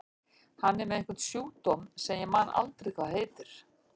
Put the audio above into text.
Hann er með einhvern sjúkdóm sem ég man aldrei hvað heitir.